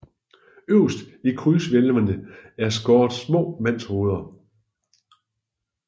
Øverst i krydshvælvene er skåret små mandshoveder